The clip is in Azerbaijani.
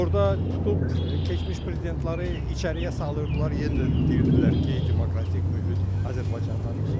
Orada tutub keçmiş prezidentləri içəriyə salırdılar, yenə də deyirdilər ki, demokratik mühit Azərbaycandan üstündür.